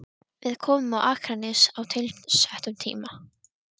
Við komum á Akranes á tilsettum tíma.